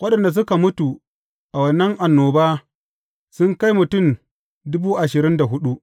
Waɗanda suka mutu a wannan annoba, sun kai mutum dubu ashirin da hudu.